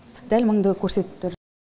дәл мыңды көрсетіп тұр